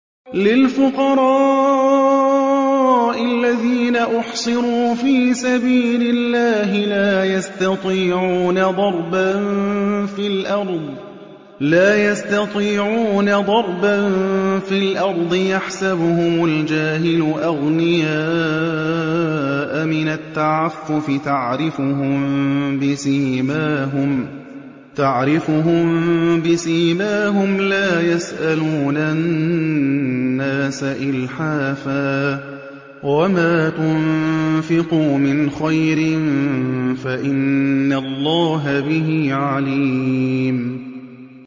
لِلْفُقَرَاءِ الَّذِينَ أُحْصِرُوا فِي سَبِيلِ اللَّهِ لَا يَسْتَطِيعُونَ ضَرْبًا فِي الْأَرْضِ يَحْسَبُهُمُ الْجَاهِلُ أَغْنِيَاءَ مِنَ التَّعَفُّفِ تَعْرِفُهُم بِسِيمَاهُمْ لَا يَسْأَلُونَ النَّاسَ إِلْحَافًا ۗ وَمَا تُنفِقُوا مِنْ خَيْرٍ فَإِنَّ اللَّهَ بِهِ عَلِيمٌ